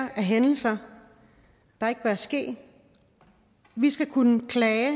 af hændelser der ikke bør ske vi skal kunne klage